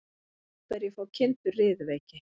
Af hverju fá kindur riðuveiki?